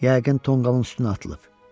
Yəqin tonqalın üstünə atılıb.